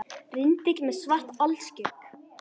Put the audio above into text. Rindill með svart alskegg